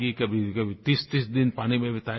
कभीकभी 3030 दिन पानी में बिताएगी